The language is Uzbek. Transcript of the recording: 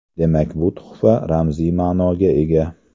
Demak, bu tuhfa ramziy ma’noga ega.